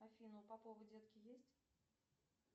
афина у попова детки есть